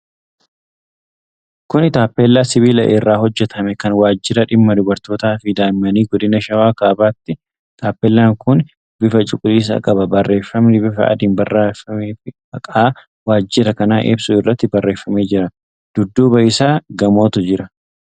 Kuni taappellaa sibiila irraa hojjatame, kan Waajjira Dhimma Dubartootaafi Daa'immanii Godina Shawaa Kaabaati. Taappeellaan kun bifa cuquliisa qaba. Barreefami bifa adiin barraa'efi maqaa waajjira kanaa ibsu irratti barreefamee jira. Dudduuba isaa gamootu jira.